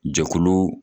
Jɛkulu